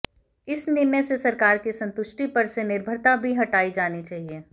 इस निर्णय से सरकार की संतुष्टि पर से निर्भरता भी हटाई जानी चाहिए